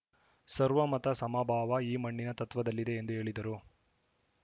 ಸರ್ವಮತ ಸಮಭಾವ ಈ ಮಣ್ಣಿನ ತತ್ವದಲ್ಲಿದೆ ಎಂದು ಹೇಳಿದರು